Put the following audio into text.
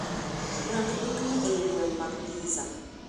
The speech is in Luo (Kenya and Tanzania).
Rang dukni eiy gweng' mag pizza